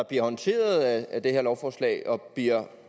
bliver håndteret af det her lovforslag og bliver